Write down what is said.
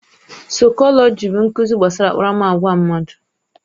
Saikolọji bụ nkuzi gbasara akparamagwa mmadụ.